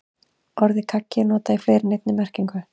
Orðið kaggi er notað í fleiri en einni merkingu.